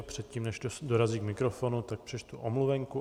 A předtím, než dorazí k mikrofonu, tak přečtu omluvenku.